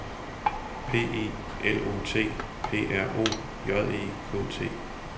P I L O T P R O J E K T